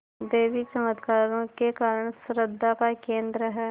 देवी चमत्कारों के कारण श्रद्धा का केन्द्र है